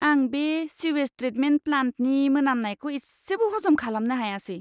आं बे sewage treatment प्लान्टनि मोनामनायखौ इसेबो हजम खालामनो हायासै!